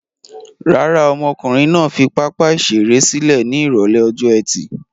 Rárá, ọmọkùnrin náà fi pápá-ìṣeré sílẹ̀ ní ìrọ́lẹ́ ọjọ́ ẹtì.